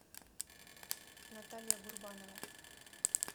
наталья гурбанова